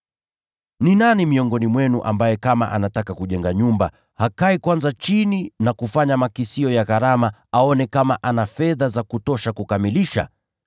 “Ni nani miongoni mwenu ambaye kama anataka kujenga nyumba, hakai kwanza chini na kufanya makisio ya gharama aone kama ana fedha za kutosha kukamilisha?